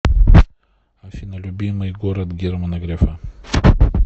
афина любимый город германа грефа